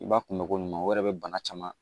I b'a kunbɛ ko ɲuman o yɛrɛ bɛ bana caman